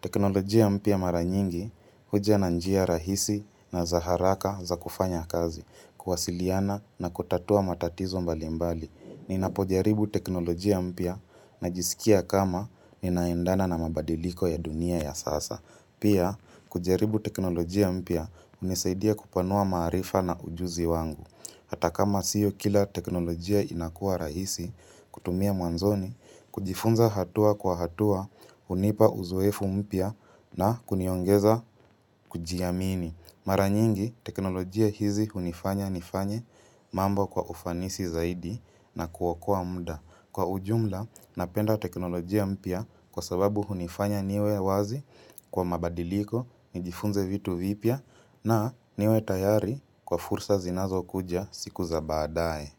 Teknolojia mpya mara nyingi huja na njia rahisi na za haraka za kufanya kazi, kuwasiliana na kutatua matatizo mbali mbali. Ninapojaribu teknolojia mpya najisikia kama ninaendana na mabadiliko ya dunia ya sasa. Pia, kujaribu teknolojia mpya hunisaidia kupanua maarifa na ujuzi wangu. Hata kama sio kila teknolojia inakua rahisi kutumia mwanzoni, kujifunza hatua kwa hatua, hunipa uzoefu mpya na kuniongeza kujiamini. Mara nyingi, teknolojia hizi hunifanya nifanye mambo kwa ufanisi zaidi na kuokoa muda. Kwa ujumla, napenda teknolojia mpia kwa sababu hunifanya niwe wazi kwa mabadiliko, nijifunze vitu vipya na niwe tayari kwa fursa zinazo kuja siku za baadae.